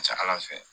Ka ca ala fɛ